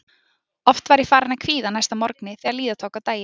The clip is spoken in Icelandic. Oft var ég farin að kvíða næsta morgni þegar líða tók á daginn.